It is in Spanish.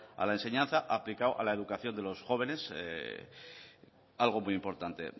a la enseñanza aplicado a la educación de los jóvenes algo muy importante